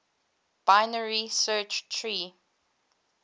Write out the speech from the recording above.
binary search tree